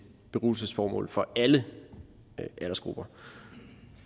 beruselsesformål for alle aldersgrupper